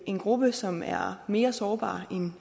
en gruppe som er mere sårbar